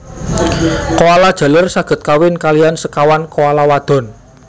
Koala jaler saged kawin kaliyan sekawan koala wadon